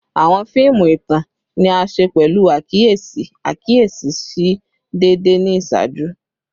Awọn fiimu itan ni a ṣe pẹlu akiyesi akiyesi si deede ni iṣaaju